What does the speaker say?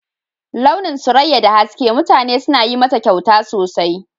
Launin Suraƴa da haske, mutane suna yin mata ƙyauta sosai.